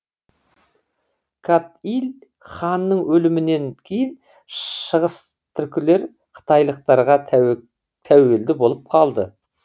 кат иль ханның өлімінен кейін шығыстүркілер қытайлықтарға тәуелді болып қалды